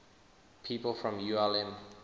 people from ulm